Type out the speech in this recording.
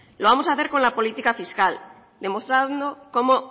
lo vamos a hacer con la política fiscal demostrando cómo